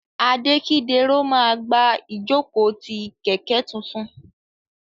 Adekidero ma gba ijoko ti kẹkẹ tuntun.